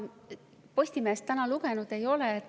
Ma Postimeest täna lugenud ei ole.